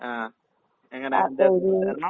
ആഹ് എങ്ങനേങ്കിലും ജോലീക്കേറണം.